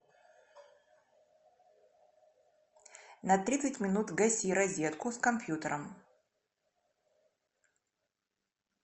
на тридцать минут гаси розетку с компьютером